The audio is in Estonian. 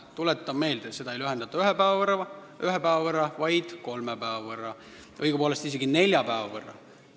Tuletan meelde: seda aega ei lühendata ühe päeva, vaid kolme päeva võrra, õigupoolest isegi nelja päeva võrra.